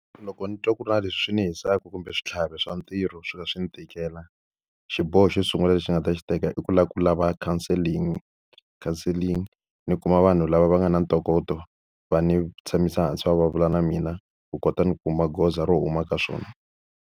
Loko ni twa ku ri na leswi swi ni hisaka kumbe switlhavi swa ntirho swo ka swi ni tikela, xiboho xo sungula lexi ni nga ta xi teka i ku lava ku lava counselling. Counseling ni kuma vanhu lava va nga na ntokoto va ni tshamisa hansi va vulavula na mina, ku kota ni kuma goza ro huma ka swona.